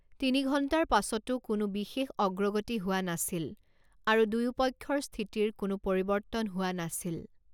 তিনি ঘণ্টাৰ পাছতো কোনো বিশেষ অগ্ৰগতি হোৱা নাছিল আৰু দুয়োপক্ষৰ স্থিতিৰ কোনো পৰিৱৰ্তন হোৱা নাছিল।